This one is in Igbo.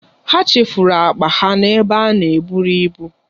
Ha chefuru akpa ha n'ebe a na-eburu ibu.